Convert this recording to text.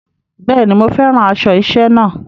Bẹ́ẹ̀ ni, mo fẹ́ràn aṣọ iṣẹ́ náà.